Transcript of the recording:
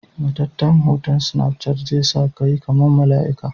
Matatan hoton snapchat zesakayi kaman malaika.